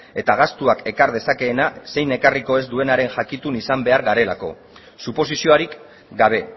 eta gastuak ekar dezakeena zein ekarriko ez duenaren jakitun izan behar garelako suposiziorik gabe